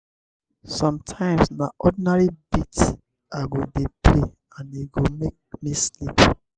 sometimes na ordinary beats i go dey play and e go make me sleep.